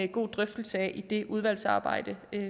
god drøftelse af i det udvalgsarbejde